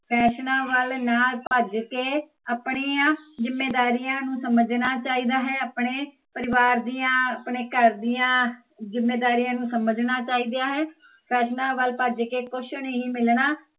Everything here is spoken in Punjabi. ਫ਼ੈਸ਼ਨਾ ਵੱਲ ਨਾ ਭੱਜ ਕੇ, ਆਪਣੀਆ ਜਿਮੇਦਾਰੀਆਂ ਨੂੰ ਸਮਜਣਾ ਚਾਹੀਦਾ ਹੈ, ਆਪਣੇ ਪਰਿਵਾਰ ਦੀਆ, ਆਪਣੇ ਘਰ ਦੀਆ ਜਿੱਮੇਦਾਰੀਆ ਨੂੰ ਸਮਜਣਾ ਚਾਹੀਦਾ ਹੈ ਫ਼ੈਸ਼ਨਾ ਵੱਲ ਭੱਜ ਕੇ ਕੁਛ ਨਹੀਂ ਮਿਲਣਾ